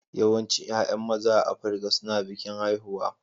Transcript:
Yawancin 'ya'yan maza a Afirka suna bikin haihuwa